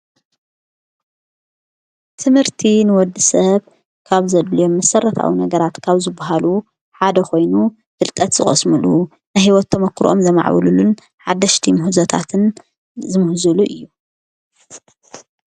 ትምህርቲ ንወዲ ሰብ ካብ ዘድልዮ ምሠረታዊ ነገራትካብ ዝብሃሉ ሓደ ኾይኑ ፍልጠት ዝቐስምሉ ንሕይወቶም ተሞክርኦም ዘማዕብሉሉን ሓደሽቲ ምሁዘታትን ዝምሕዙሉ እዩ።